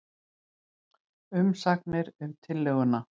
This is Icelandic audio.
Umsagnir um tillöguna